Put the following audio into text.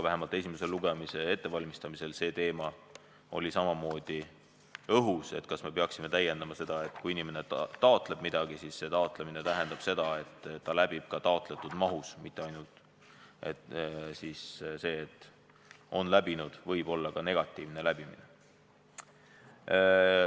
Esimese lugemise ettevalmistamisel oli samamoodi õhus teema, kas me peaksime seda täiendama, nii et kui inimene taotleb midagi, siis see taotlemine tähendab seda, et ta läbib taotletud mahus, mitte ainult ei ole kirjas "on läbinud", millel võib olla ka negatiivne tähendus.